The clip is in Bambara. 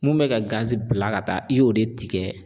Mun bɛ ka bila ka taa i y'o de tigɛ